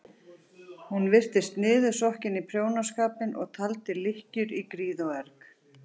Hún virtist niðursokkin í prjónaskapinn og taldi lykkjur í gríð og erg.